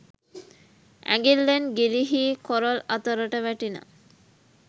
ඇඟිල්ලෙන් ගිලිහී කොරල් අතරට වැටිණ